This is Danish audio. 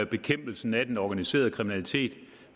bekæmpelsen af den organiserede kriminalitet